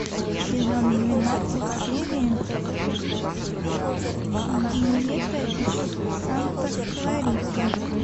сезон двенадцать серия диета из санта клариты